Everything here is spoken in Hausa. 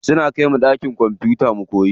Suna kaimu ɗakin kwamfuta mu koya.